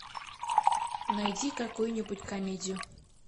найди какую нибудь комедию